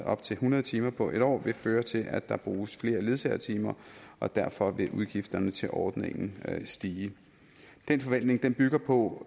op til hundrede timer på en år vil føre til at der bruges flere ledsagetimer og derfor vil udgifterne til ordningen stige den forventning bygger på